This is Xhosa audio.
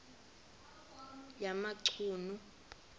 yamachunu